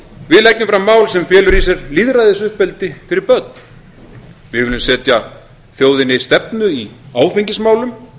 við leggjum fram mál sem felur í sér lýðræðisuppeldi fyrir börn við viljum setja þjóðinni stefnu í áfengismálum